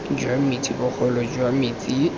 jwa metsi bogolo jwa metsi